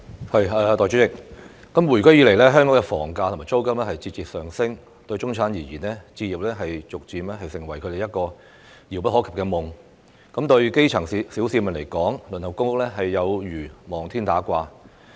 代理主席，回歸以來，香港的房價和租金節節上升，對中產階級而言，置業逐漸成為一個遙不可及的夢；對基層市民而言，輪候公屋有如望天打卦。